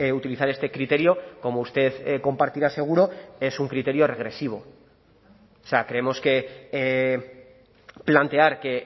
utilizar este criterio como usted compartirá seguro es un criterio regresivo o sea creemos que plantear que